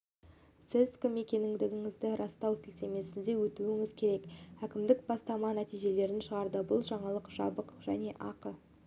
сіз кім екендігіңізді растау сілтемесіне өтуіңіз керек әкімдік бастама нәтижелерін шығарды бұл жаңалық жабық және ақы